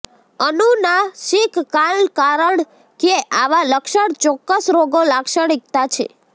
અનુનાસિક કાન કારણ કે આવા લક્ષણ ચોક્કસ રોગો લાક્ષણિકતા છે